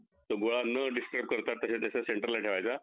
तो गुलाब न डिस्ट्रॉव करता तेच त्याच्या center ला ठेवायचा